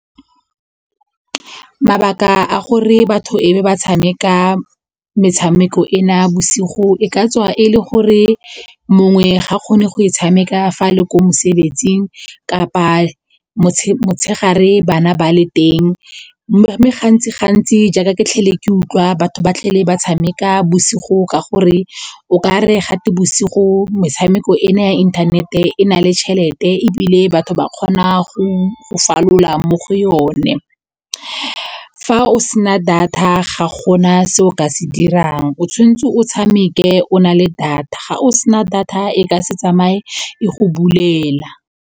Mabaka a gore batho e be ba tshameka metshameko e na bosigo e ka tswa e le gore mongwe ga kgone go e tshameka fa a le ko mosebetsing kapa motshegare bana ba le teng mme gantsi jaaka ke tlhole ke utlwa batho ba tlhole ba tshameka bosigo ka gore okare gate bosigo metshameko ena ya inthanete e na le tšhelete ebile batho kgona go falola mo go yone. Fa o sena data ga gona se o ka se dirang o tshwanetse o tshameke o nale data ga o sena data e ka se tsamaye e go bulela.